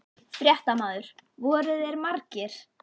Fréttamaður: Voru þeir margir?